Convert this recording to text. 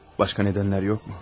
Başqa səbəblər yoxmu?